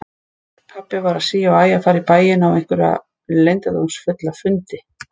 Pabbi var sí og æ að fara í bæinn á einhverja leyndardómsfulla fundi.